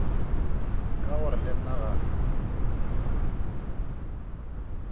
ka gore le nna ga